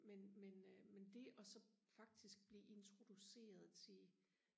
men men men det og så faktisk blive introduceret til